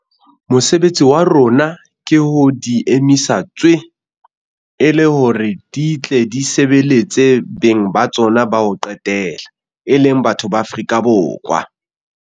Mosebetsi wa rona ke ho di emisa tswee, e le hore di tle di sebeletse beng ba tsona ba ho qetela - e leng batho ba Afrika Borwa.